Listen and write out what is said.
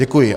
Děkuji.